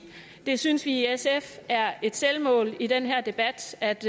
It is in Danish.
vi synes i sf at det er et selvmål i den her debat at